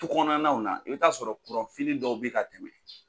Tukɔnɔnanaw na i bɛ t'a sɔrɔ dɔw bɛ ka tɛmɛ